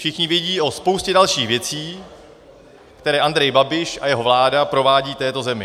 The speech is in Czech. Všichni vědí o spoustě dalších věcí, které Andrej Babiš a jeho vláda provádějí této zemi.